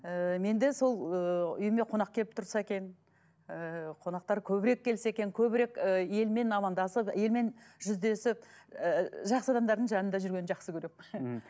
ііі менде сол ыыы үйіме қонақ келіп тұрса екен ыыы қонақтар көбірек келсе екен көбірек ы елмен амандасып елмен жүздесіп ыыы жақсы адамдардың жанында жүргенді жақсы көремін мхм